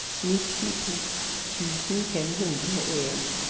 nittito tusen fem hundre og en